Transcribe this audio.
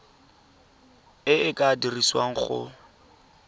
e e ka dirisiwang go